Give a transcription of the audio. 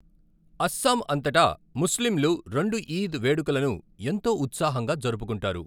అస్సాం అంతటా ముస్లింలు రెండు ఈద్ వేడుకలను ఎంతో ఉత్సాహంగా జరుపుకుంటారు.